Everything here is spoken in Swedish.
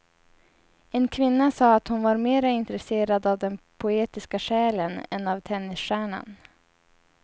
En kvinna sa att hon var mera intresserad av den poetiska själen än av tennisstjärnan.